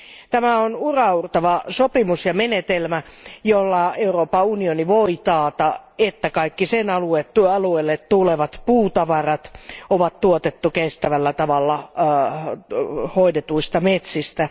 Tämä on uraauurtava sopimus ja menetelmä, jolla Euroopan unioni voi taata, että kaikki sen alueelle tulevat puutavarat on tuotettu kestävällä tavalla hoidetuista metsistä.